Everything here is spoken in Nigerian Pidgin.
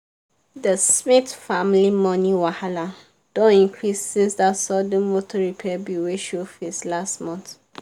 the smith family money wahala don increase since that sudden motor repair bill wey show face last month.